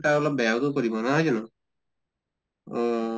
তাৰ অলপ বেয়াও তো কৰিব নহয় জানো? অহ